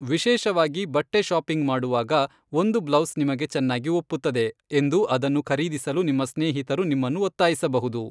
ವಿಶೇಷವಾಗಿ ಬಟ್ಟೆ ಶಾಪಿಂಗ್ ಮಾಡುವಾಗ, ಒಂದು ಬ್ಲೌಸ್ ನಿಮಗೆ ಚೆನ್ನಾಗಿ ಒಪ್ಪುತ್ತದೆ ಎಂದು ಅದನ್ನು ಖರೀದಿಸಲು ನಿಮ್ಮ ಸ್ನೇಹಿತರು ನಿಮ್ಮನ್ನು ಒತ್ತಾಯಿಸಬಹುದು.